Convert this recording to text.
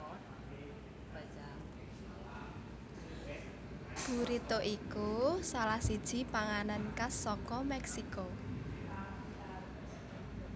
Burrito iku salah siji panganan khas saka Mèksiko